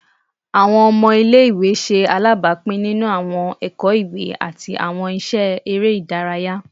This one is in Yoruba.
Awọn ọmọ ile-iwe ṣe alabapin ninu awọn ẹkọ iwe ati awọn iṣẹ ere idaraya